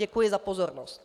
Děkuji za pozornost.